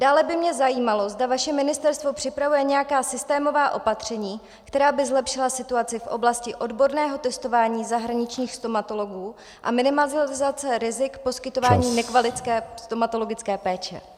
Dále by mě zajímalo, zda vaše ministerstvo připravuje nějaká systémová opatření, která by zlepšila situaci v oblasti odborného testování zahraničních stomatologů a minimalizaci rizik poskytování nekvalitní stomatologické péče.